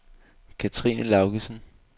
Cathrine Laugesen